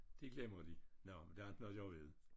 Det glemmer de. Nåh men der er ikke noget at gøre ved det